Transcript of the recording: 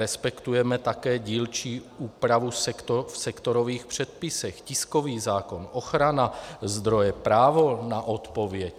Respektujeme také dílčí úpravu v sektorových předpisech, tiskový zákon, ochrana zdroje, právo na odpověď.